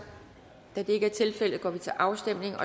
da det ikke er tilfældet går vi til afstemning